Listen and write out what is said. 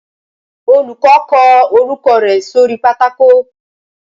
Olùkọ́ kọ orúkọ rẹ̀ sóri pátákó